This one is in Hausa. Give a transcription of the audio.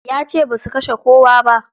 Yace basu kashe kowa ba.